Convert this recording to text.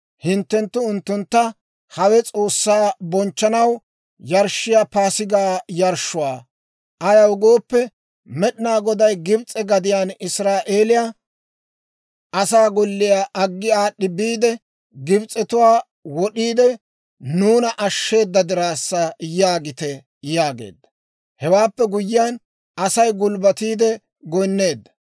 hinttenttu unttuntta, ‹Hawe S'oossaa bonchchanaw yarshshiyaa Paasigaa yarshshuwaa; ayaw gooppe, Med'inaa Goday Gibs'e gadiyaan Israa'eeliyaa asaa golliyaa aggi aad'd'i biide, Gibs'etuwaa wod'iide, nuuna ashsheeda diraassa› yaagite» yaageedda. Hewaappe guyyiyaan Asay gulbbatiide goynneedda.